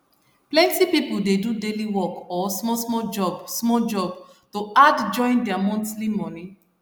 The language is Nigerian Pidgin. plenty people dey do daily work or small small job small job to add join their monthly money